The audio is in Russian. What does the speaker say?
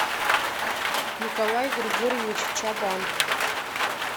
николай григорьевич чабан